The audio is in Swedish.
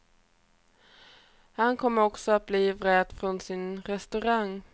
Han kommer också att bli vräkt från sin restaurang.